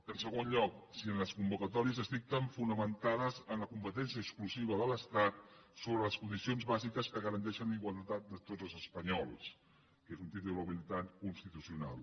en segon lloc si les convocatòries es dicten fonamenta·des en la competència exclusiva de l’estat sobre les condicions bàsiques que garanteixen la igualtat de tots els espanyols que és un títol habilitant constitucional